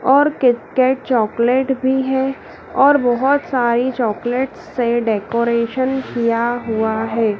और Kit Kat chocolate भी है और बहोत सारी चॉकलेट से डेकोरेशन किया हुआ है।